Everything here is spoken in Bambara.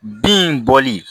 Bin bɔli